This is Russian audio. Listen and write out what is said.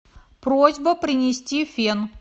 просьба принести фен